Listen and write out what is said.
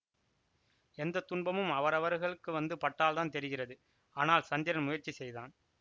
எந்த துன்பமும் அவரவர்களுக்கு வந்து பட்டால்தான் தெரிகிறது ஆனால் சந்திரன் முயற்சி செய்தான்